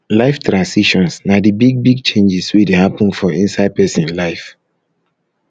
life transitions na di big big changes wey dey happen for inside person life